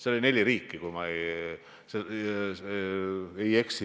Seal oli neli riiki, kui ma ei eksi.